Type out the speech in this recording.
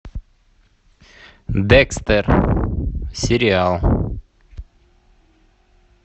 декстер сериал